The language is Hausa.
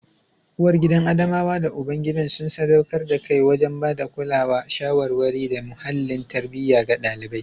Uwargidan Adamawa da ubangidan sun sadaukar da kai wajen ba da kulawa, shawarwari, da muhallin tarbiyya ga ɗalibai.